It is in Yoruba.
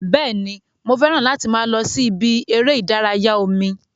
Bẹ́ẹ̀ni, mo fẹ́ràn láti máa lọ sí ibi eré ìdárayá omi